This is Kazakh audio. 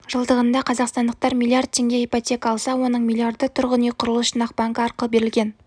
жылдығында қазақстандықтар млрд теңге ипотека алса оның миллиарды тұрғын үй құрылыс жинақ банкі арқылы берілген